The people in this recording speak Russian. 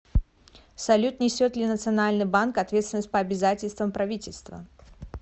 салют несет ли национальный банк ответственность по обязательствам правительства